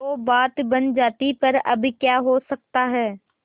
तो बात बन जाती पर अब क्या हो सकता है